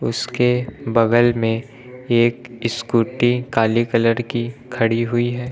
उसके बगल में एक स्कूटी काली कलर की खड़ी हुई है।